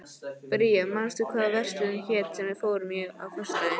Bría, manstu hvað verslunin hét sem við fórum í á föstudaginn?